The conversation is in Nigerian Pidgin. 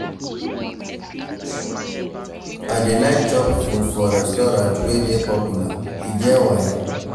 I dey like chop food for restaurant wey dey popular, e get why.